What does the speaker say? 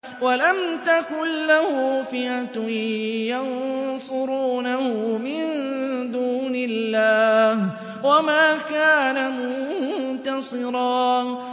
وَلَمْ تَكُن لَّهُ فِئَةٌ يَنصُرُونَهُ مِن دُونِ اللَّهِ وَمَا كَانَ مُنتَصِرًا